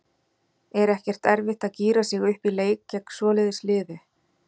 Er ekkert erfitt að gíra sig upp í leik gegn svoleiðis liði?